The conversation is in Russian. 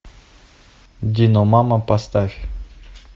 диномама поставь